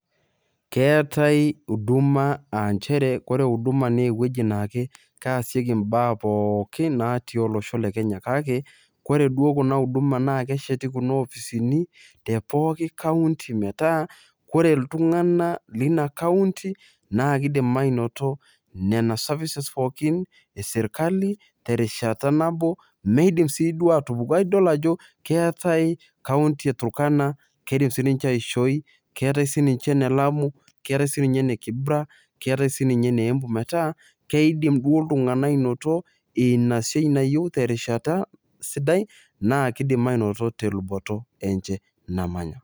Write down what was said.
keetae huduma aa nchere ore huduma naa ewueji naa keesieki baa pookin natii olosho le kenya. kake, ore duo huduma naa kesheti kuna opisini te pooki county meeta ore iltungana leina county naa kidim aanoto nena services pookin esirkali, terishata nabo meidim siiduo atupuku. idol ajo keetae county e turkana. kidim sii nince aishoi. keetae sii ninche ne lamu, keetae sii ninche ne kibra, keetare ine embu metaa kidim duo ltunganak ainoto ina siai nayieu terishata sidai. naa kidim ainoto te luboto enche namanya.